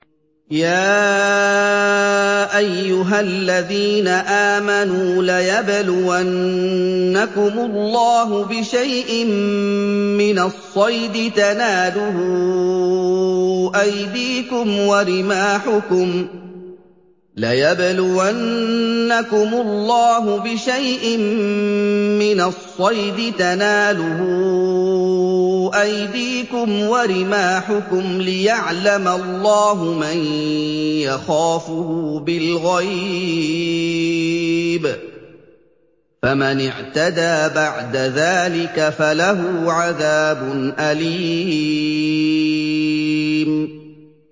يَا أَيُّهَا الَّذِينَ آمَنُوا لَيَبْلُوَنَّكُمُ اللَّهُ بِشَيْءٍ مِّنَ الصَّيْدِ تَنَالُهُ أَيْدِيكُمْ وَرِمَاحُكُمْ لِيَعْلَمَ اللَّهُ مَن يَخَافُهُ بِالْغَيْبِ ۚ فَمَنِ اعْتَدَىٰ بَعْدَ ذَٰلِكَ فَلَهُ عَذَابٌ أَلِيمٌ